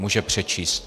Může přečíst.